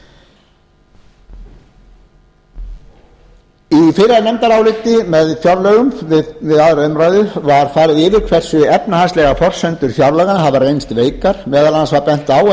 í fyrra nefndaráliti með fjárlögum við aðra umræðu var farið yfir hversu efnahagslegar forsendur fjárlaganna hafa reynst veikar meðal annars var bent á að